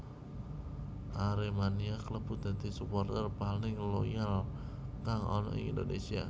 Aremania kalebu dadi suporter paling loyal kang ana ing Indonesia